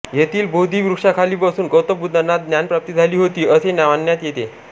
येथील बोधी वृक्षाखाली बसून गौतम बुद्धांना ज्ञानप्राप्ती झाली होती असे मानण्यात येते